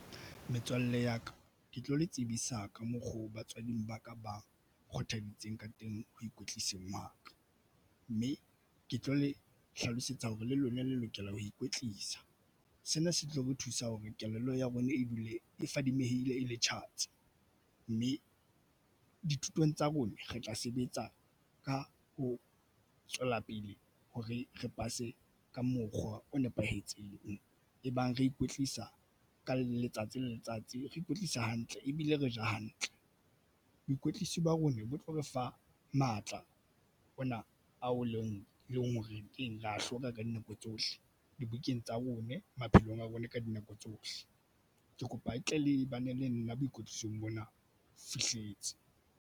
Metswalle ya ka ke tlo le tsebisa ka mokgo. Batswading ba ka ba kgothalleditseng ka teng ho ikwetliseng wa ka mme ke tlo le hlalosetsa hore le lona le lokela ho ikwetlisa. Sena se tlo re thusa hore kelello ya rona e dule e fadimehile e le tjhatsi mme dithutong tsa rona re tla sebetsa ka ho tswela pele hore re pase ka mokgwa o nepahetseng. Ebang re ikwetlisa ka letsatsi le letsatsi, re ikwetlisa hantle ebile re ja hantle. Boikwetliso ba rona bo tlo re fa matla ona ao leng eleng horeng re ya hloka ka dinako tsohle dibukeng tsa rona maphelong a rona ka dinako tsohle. Ke kopa le tle le bane le nna boikwetlisong bona fihletse.